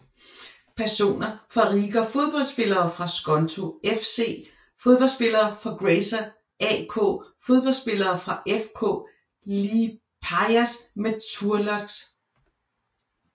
Personer fra Riga Fodboldspillere fra Skonto FC Fodboldspillere fra Grazer AK Fodboldspillere fra FK Liepājas Metalurgs